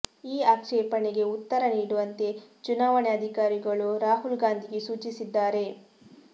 ಈ ಆಕ್ಷೇಪಣೆಗೆ ಉತ್ತರ ನೀಡುವಂತೆ ಚುನಾವಣೆ ಅಧಿಕಾರಿಗಳು ರಾಹುಲ್ ಗಾಂಧಿಗೆ ಸೂಚಿಸಿದ್ದಾರೆ